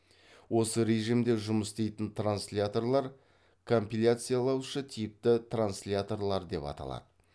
осы режімде жұмыс істейтін трансляторлар компиляциялаушы типті трансляторлар деп аталады